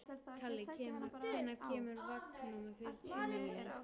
Kalli, hvenær kemur vagn númer fjörutíu og níu?